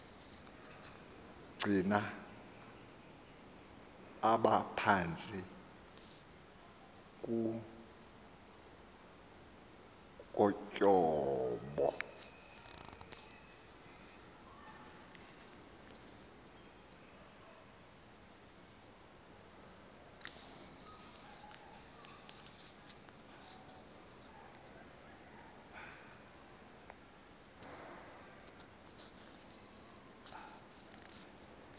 gcina aphantsi kotyhopho